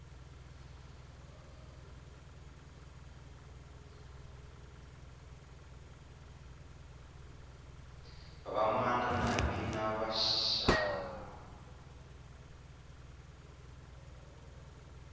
vamana navina va xana